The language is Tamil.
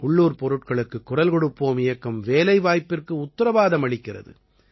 உள்ளூர்ப் பொருட்களுக்குக் குரல் கொடுப்போம் இயக்கம் வேலைவாய்ப்பிற்கு உத்திரவாதம் அளிக்கிறது